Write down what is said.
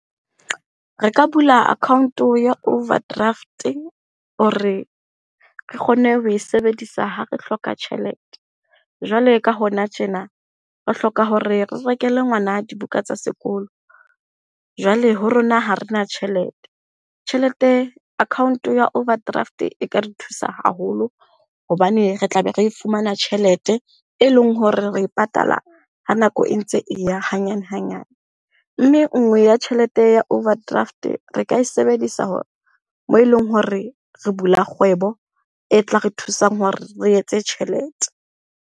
Re ka bula account ya overdraft-e hore re kgone ho e sebedisa ha re hloka tjhelete. Jwale ka hona tjena, re hloka hore re rekele ngwana dibuka tsa sekolo, jwale ho rona ha rena tjhelete. Tjhelete, account-o ya overdraft e ka re thusa haholo hobane re tla be re fumana tjhelete, e leng hore re e patala ha nako e ntse e ya hanyane hanyane. Mme nngwe ya tjhelete ya overdraft, re ka e sebedisa moo eleng hore re bula kgwebo e tla re thusang hore re etse tjhelete.